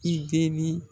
I deni